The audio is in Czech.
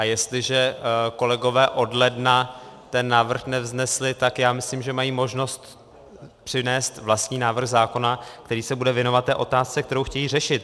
A jestliže kolegové od ledna ten návrh nevznesli, tak já myslím, že mají možnost přinést vlastní návrh zákona, který se bude věnovat té otázce, kterou chtějí řešit.